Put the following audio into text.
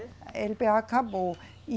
A eLeBêA acabou.